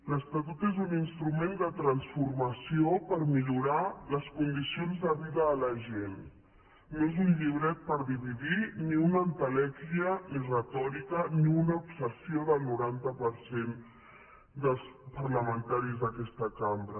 l’estatut és un instrument de transformació per millorar les condicions de vida de la gent no és un llibret per dividir ni una entelèquia ni retòrica ni una obsessió del noranta per cent dels parlamentaris d’aquesta cambra